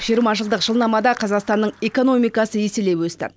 жиырма жылдық жылнамада қазақстанның экономикасы еселей өсті